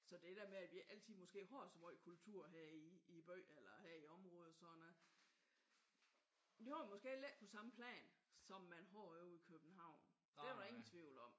Så det der med at vi altid måske har så meget kultur her i i byen eller her i området sådan det er måske heller ikke på samme plan som man har ude i København. Der er ingen tvivl om